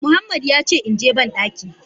Muhammad yace inje bandaki.